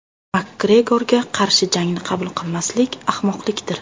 Makgregorga qarshi jangni qabul qilmaslik ahmoqlikdir.